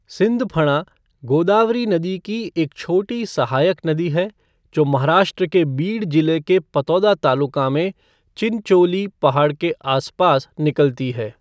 सिंधफणा गोदावरी नदी की एक छोटी सहायक नदी है जो महाराष्ट्र के बीड जिले के पतोदा तालुका में चिनचोली पहाड़ी के आसपास निकलती है।